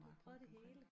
Du har prøvet det hele